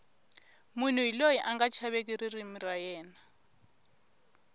munhu hi loyi anga chaveki ririmi ra yena